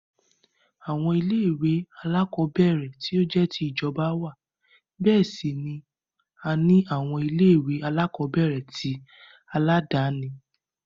Àwọn ilé-ìwé alákọ̀ọ́bẹ̀ẹ̀rẹ̀ tí ó jẹ́ ti ìjọba wà, bẹ́ẹ̀ sì ni a ní àwọn ilé-ìwé alákọ̀ọ́bẹ̀ẹ̀rẹ̀ tí aládàáni.